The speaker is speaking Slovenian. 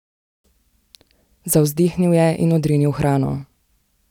Zavzdihnil je in odrinil hrano.